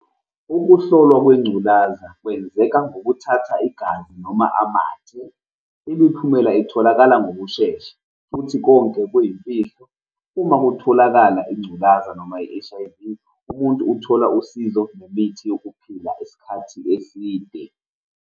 Ukuhlolwa kwengculazi kwenzeka ngokuthatha igazi noma amathe. Imiphumela itholakala ngokushesha futhi konke kuyimfihlo. Uma kutholakala ingculaza noma i-H_I_V, umuntu uthola usizo nemithi yokuphila isikhathi eside.